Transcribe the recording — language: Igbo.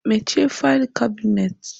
Mechie faịlụ kabinet!